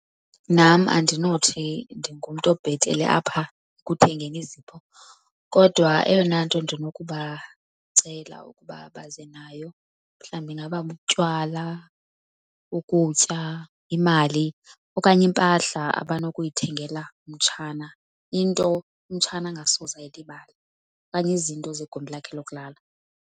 Nam andinothi ndingumntu obhetele apha ekuthengeni izipho kodwa eyona nto ndinokubacela ukuba baze nayo mhlawumbi ingaba butywala, ukutya, imali okanye impahla abanokuyithengela umtshana. Into umtshana angasoze ayilibale okanye izinto zegumbi lakhe lokulala.